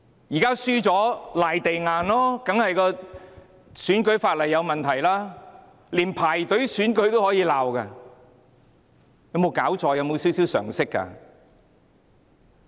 現在輸了便"賴地硬"，說選舉法例有問題，連排隊投票都可以批評，有沒有搞錯，有沒有少許常識呢？